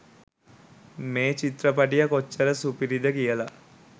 මේ චිත්‍රපටිය කොච්චර සුපිරිද කියලා